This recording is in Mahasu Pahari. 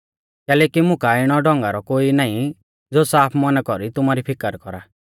कैलैकि मुं काऐ इणौ ढौंगारौ कोई नाईं ज़ो साफ मौना कौरी तुमारी फिकर कौरा